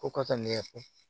Ko kasa ne yɛrɛ fɛ